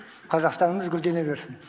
қазақстанымыз гүлдене берсін